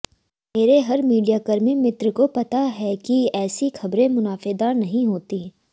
मेरे हर मीडियाकर्मी मित्र को पता है कि ऐसी खबरें मुनाफेदार नहीं होती